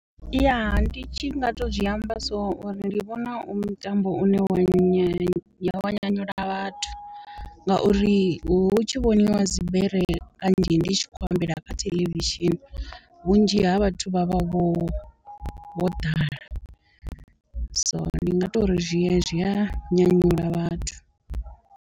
Yaa ndi tshi nga to zwiamba so uri ndi vhona u mutambo une wa nyanyula vhathu, ngauri hu tshi vhoniwa dzibere kanzhi ndi tshi tshi khou ambela kha theḽevishini vhunzhi ha vhathu vha vha vho ḓala so ndi nga tori zwi ya zwi a nyanyula vhathu.